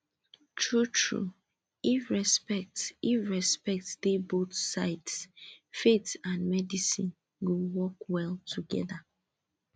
truetrue if respect if respect dey both sides faith and medicine go work well together